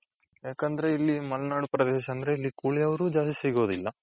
ಯಾಕಂದ್ರೆ ಇಲ್ಲಿ ಮಲ್ನಾಡ್ ಪ್ರದೇಶ ಅಂದ್ರೆ ಇಲ್ಲಿ ಕೂಲಿ ಅವ್ರು ಜಾಸ್ತಿ ಸಿಗೋದಿಲ್ಲ.